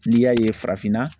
N'i y'a ye farafinna